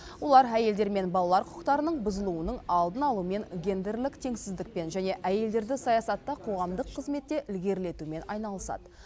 олар әйелдер мен балалар құқықтарының бұзылуының алдын алумен гендерлік теңсіздікпен және әйелдерді саясатта қоғамдық қызметте ілгерілетумен айналысады